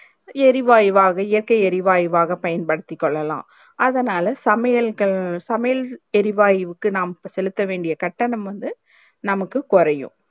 எரிவாயுவாக இயற்க்கை எரிவாயுவாக பயன்படுத்தி கொள்ளலாம் அதனால சமையல்கள் சமையல் எரிவாய்வுக்கு நாம் செலுத்த வேண்டிய கட்டணம் வந்து நமக்கு குறையும்